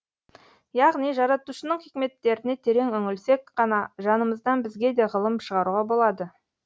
яғни жаратушының хикметтеріне терең үңілсек қана жанымыздан бізге де ғылым шығаруға болады